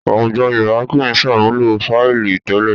Àwùjọ Yorùbá kì í ṣàmúlò fáìlì tẹ́lẹ̀